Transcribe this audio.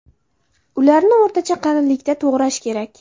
Ularni o‘rtacha qalinlikda to‘g‘rash kerak.